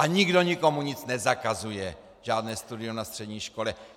A nikdo nikomu nic nezakazuje, žádné studium na střední škole!